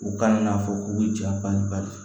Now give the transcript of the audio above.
O kaɲi n'a fɔ ko ja baliku bali